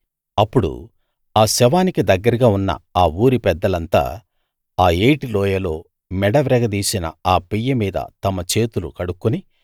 అప్పుడు ఆ శవానికి దగ్గరగా ఉన్న ఆ ఊరి పెద్దలంతా ఆ ఏటి లోయలో మెడ విరగదీసిన ఆ పెయ్య మీద తమ చేతులు కడుక్కుని